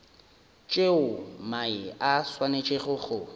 tšeo mae a swanetšego go